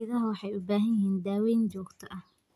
Idaha waxay u baahan yihiin daaweyn joogto ah.